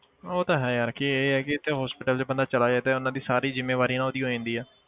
ਉਹ ਤਾਂ ਹੈ ਯਾਰ ਕਿ ਇਹ ਆ ਕਿ ਇੱਥੇ hospital 'ਚ ਬੰਦਾ ਚਲਾ ਜਾਏ ਤੇ ਉਹਨਾਂ ਦੀ ਸਾਰੀ ਜ਼ਿੰਮੇਵਾਰੀ ਨਾ ਉਹਦੀ ਹੋ ਜਾਂਦੀ ਆ।